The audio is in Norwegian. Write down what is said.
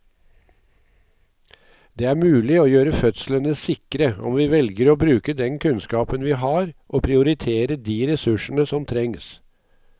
Det er mulig å gjøre fødslene sikre om vi velger å bruke den kunnskapen vi har og prioritere de ressursene som trengs.